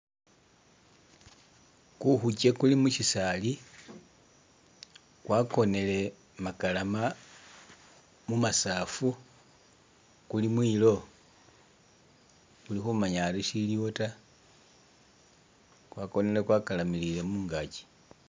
Ku khukye kuli mu shisaali, kwakonele makalama mu masaafu kuli mwilo i kuli khumanya ari ishiliwo ta ,kwakonele kwa kalamiliye mungakyi.